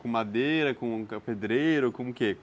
Com madeira, como pedreiro, com o quê?